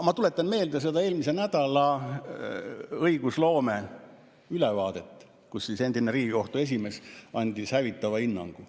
Ma tuletan meelde seda eelmise nädala õigusloome ülevaadet, kus siis endine Riigikohtu esimees andis hävitava hinnangu.